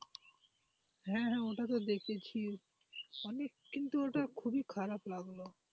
হ্যাঁ হ্যাঁ ওটা তো দেখেছি অনেক কিন্তু ওটা খুবই খারাপ লাগলো।